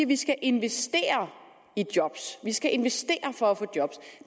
vi skal investere i job at vi skal investere for at få job